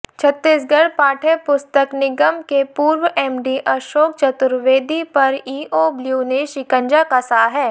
छत्तीसगढ़ पाठ्यपुस्तक निगम के पूर्व एमडी अशोक चतुर्वेदी पर ईओब्ल्यू ने शिकंजा कसा है